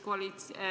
Jürgen Ligi, palun!